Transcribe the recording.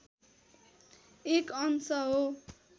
एक अंश हो